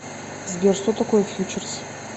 сбер что такое фьючерс